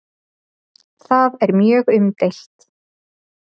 Það er mjög umdeilt.